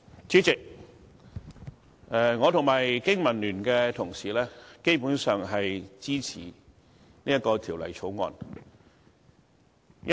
主席，我和經民聯的同事，基本上也支持《2017年應課稅品條例草案》。